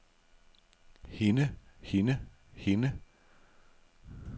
hende hende hende